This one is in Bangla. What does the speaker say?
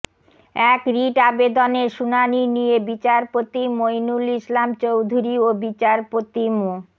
এক রিট আবেদনের শুনানি নিয়ে বিচারপতি মইনুল ইসলাম চৌধুরী ও বিচারপতি মো